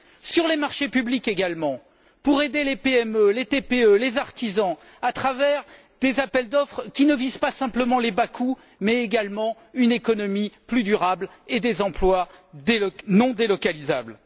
Sur les marchés publics également, pour aider les PME, les TPE, les artisans à travers des appels d'offres qui ne visent pas seulement les bas coûts, mais également une économie plus durable et des emplois non délocalisables.